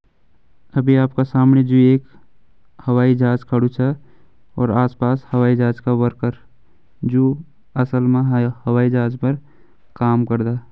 अभी आपका समणी जु एक हवाई जहाज खड़ु छ और आस पास हवाई जहाज का वर्कर जु असल मा हवाई जहाज पर काम करदा।